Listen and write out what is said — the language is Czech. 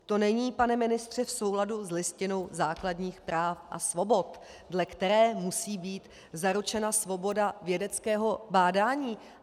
To není, pane ministře, v souladu s Listinou základních práv a svobod, dle které musí být zaručena svoboda vědeckého bádání.